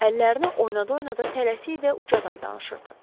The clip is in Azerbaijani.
Əllərini oynada-oynada tələsik və ucadan danışırdı.